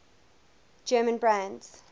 german brands